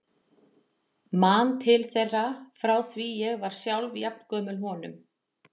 Man til þeirra frá því ég var sjálf jafn gömul honum.